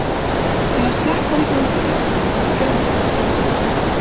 Þegar sjatnar í göngunum verður til hraunhellir.